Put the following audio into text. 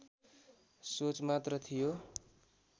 सोच मात्र थियो